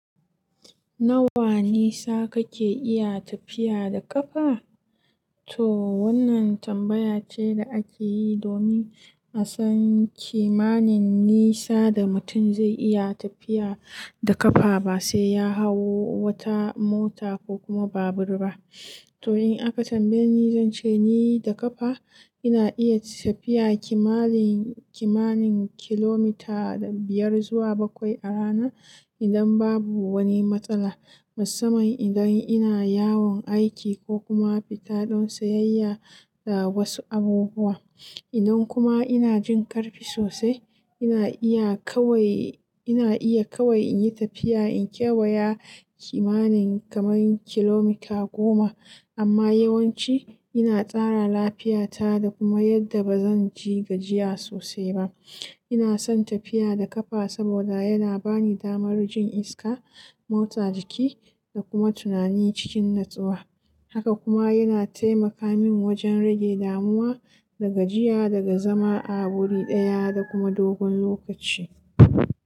Nawa nisa kake iya tafiya da ƙafa? To wannan tambaya ce da ake yi domin a san kimanin nisa da mutum zai iya tafiya da ƙafa ba sai ya hau wata mota ko kuma babur ba. To in aka tambaye ni, zan ce ni da ƙafa ina iya tafiya kimanin, kimanin kilomita biyar zuwa bakwai a rana idan babu wani matsala. Musamman idan ina yawon aiki ko kuma fita don sayayya da wasu abubuwa. Idan kuma ina jin ƙarfi sosai, ina iya kawai, ina iya kawai in yi tafiya in kewaya kimanin kamar kilomita goma. Amma yawanci ina tsara lafiyata da kuma yadda ba zan ji gajiya sosai ba. Ina son tafiya da ƙafa saboda yana bani damar jin iska, motsa jiki da kuma tunani cikin natsuwa. Haka kuma yana taimaka min wajen rage damuwa da gajiya daga zama a wuri ɗaya da kuma dogon lokaci.